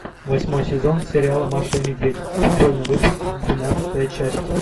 восьмой сезон сериала маша и медведь футбольный выпуск двенадцатая часть